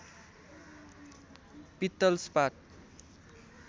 पित्तल स्पात